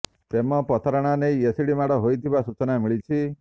ପ୍ରେମ ପ୍ରତାରଣା ନେଇ ଏସିଡ୍ ମାଡ ହୋଇଥିବା ସୂଚନା ମିଳିଛି